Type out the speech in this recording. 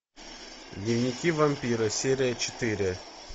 дневники вампира серия четыре